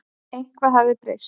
Eitthvað hafði breyst.